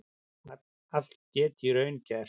Allt geti í raun gerst